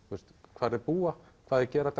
hvar þeir búa hvað þeir gera